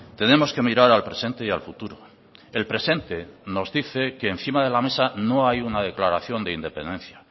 tenemos que mirar al presente y al futuro el presente nos dice que encima de la mesa no hay una declaración de independencia